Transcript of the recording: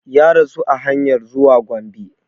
Ya rasu a hanyar zuwa Gombe